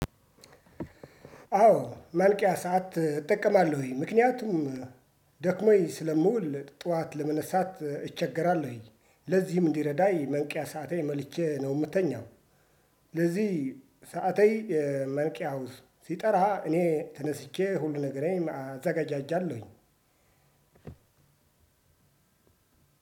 አዎ ማንቂያ ሰዓት እጠቀማለሁኝ። ምክንያቱም ደክሞኝ ስለመውል ጠዋት ለመነሳት እቸገራለሁኝ። ለዚህም እንዲረዳኝ መንቂያ ሰአቴን መልቼ ነው የምትተኛው። ለዚህ ሰዓታዊ መልቂያውስ ሲጠራ እኔ ተነስቼ ሁሉ ነገርን አዘገጃጃለሁኝ።